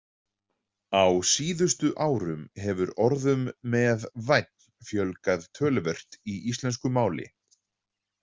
Á síðustu árum hefur orðum með- vænn fjölgað töluvert í íslensku máli.